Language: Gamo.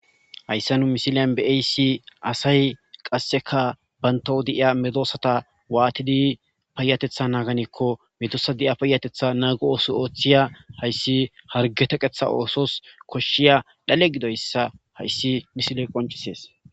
Hayssa nu missillen be'oyssi asay qasseka bantaw de'iya medosata watidi payateththa naganakko medosa diya payateththa nago ooso hayssi hargge teqeththa oosos koshiya dhale giddoyssa missiley qonccises.